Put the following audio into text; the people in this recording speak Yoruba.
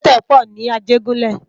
Àbètè pò ni Ajegunle